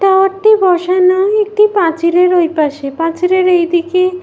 Tower -টি বসানো একটি পাঁচিলের ওইপাশে। পাঁচিলের এইদিকে --